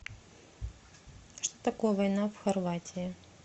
что такое война в хорватии